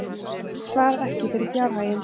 Svarar ekki fyrir fjárhaginn